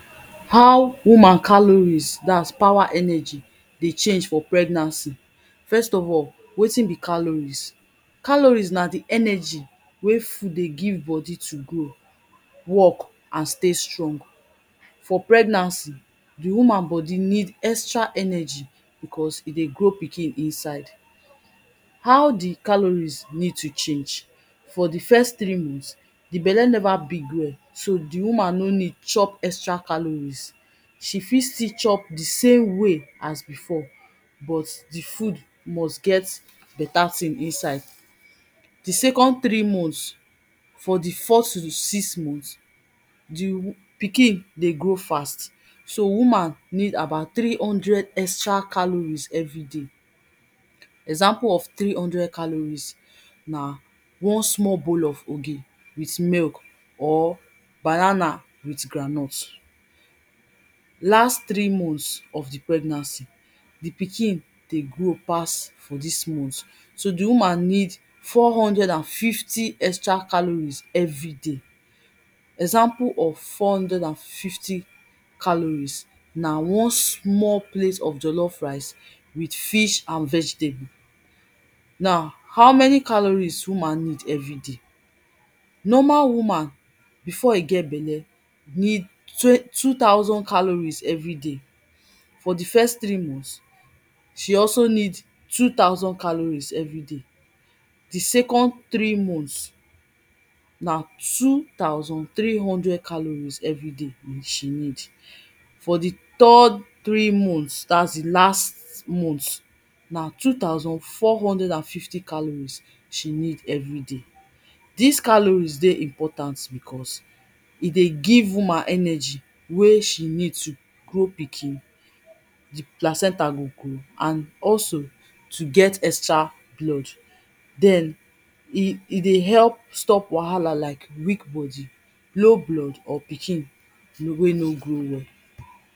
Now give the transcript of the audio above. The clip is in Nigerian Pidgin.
how woman chaloris dat is power energy dey change for pregnancy. first of all wetin be chaloris? chaloris na di energy ey food dey give bodi to work and stay strong for pregnancy. di woman bodi need extral energy because e dey grow pikin for inside. how di chaloris needto change for di first three months di bele never big well but di woman no need to chop evtral caloris. she fit stil chop di same way as before, but di food must get beta thing inside. di second three mont for di first sic=x month, pikin dey grow fast so woman need abou three-hunfdred extral caloris everyday. example of caloris na one small bowl of ogi with milk or banana with groundnut. na past three month of di pregnancy, di pikin dey grow pass for dis month so di woman need four hundred and fifty extral caloris everyday. example of fourhundred and fifty caloris na one small plate of jollof rice with fish and vegetable. now how many caloris woman need everyday? normal woman before e get belle, need two thousand caloris everyday. for di first three month, she also need two- thousand caloris everyday di second three months, na two thousand three hundred caloris she need for di third three month dats di last month, na two thousand four hundred and fifty caloris she need eveyday. dis caloris dey important because e dey give woman energy wey seh need to grow pikin, di placental go grow and also to get extra blood den d dey help stop wahala like weak body, or pikin wey no grow well.